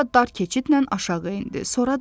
Sonra dar keçidlə aşağı endi.